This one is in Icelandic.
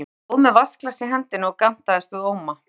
Ég stóð með vatnsglas í hendinni og gantaðist við Óma.